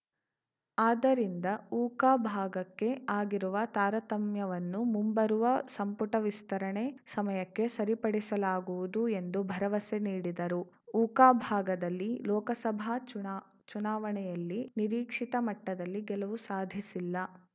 ಆದ್ದರಿಂದ ಉಕ ಭಾಗಕ್ಕೆ ಆಗಿರುವ ತಾರತಮ್ಯವನ್ನು ಮುಂಬರುವ ಸಂಪುಟ ವಿಸ್ತರಣೆ ಸಮಯಕ್ಕೆ ಸರಿಪಡಿಸಲಾಗುವುದು ಎಂದು ಭರವಸೆ ನೀಡಿದರು ಉಕ ಭಾಗದಲ್ಲಿ ಲೋಕಸಭಾ ಚುನಾ ಚುನಾವಣೆಯಲ್ಲಿ ನಿರೀಕ್ಷಿತ ಮಟ್ಟದಲ್ಲಿ ಗೆಲುವು ಸಾಧಿಸಿಲ್ಲ